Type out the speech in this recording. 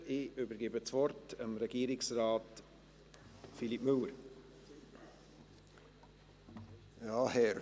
Ich übergebe das Wort Regierungsrat Philippe Müller.